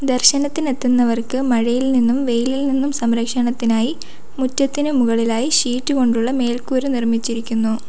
ദർശനത്തിന് എത്തുന്നവർക്ക് മഴയിൽ നിന്നും വെയിലിൽ നിന്നും സംരക്ഷണത്തിനായി മുറ്റത്തിന് മുകളിലായി ഷീറ്റ് കൊണ്ടുള്ള മേൽക്കൂര നിർമ്മിച്ചിരിക്കുന്നു.